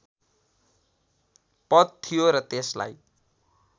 पद थियो र त्यसलाई